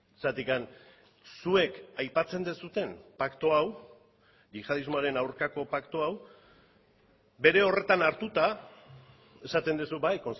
zergatik zuek aipatzen duzuen paktu hau yihadismoaren aurkako paktu hau bere horretan hartuta esaten duzu bai